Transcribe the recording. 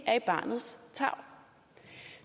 er i barnets tarv